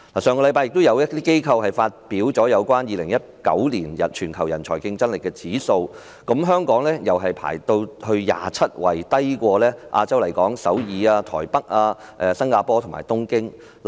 上星期亦有機構發表有關2019年全球人才競爭力指數，香港排名第二十七位，低於亞洲區的首爾、台北、新加坡和東京。